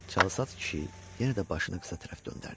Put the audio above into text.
Çalsaç kişi yenə də başını qıza tərəf göndərdi.